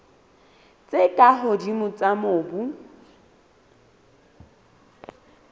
tse ka hodimo tsa mobu